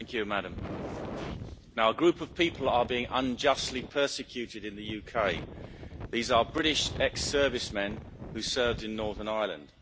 Madam President, a group of people are being unjustly persecuted in the UK. These are British ex servicemen who served in Northern Ireland.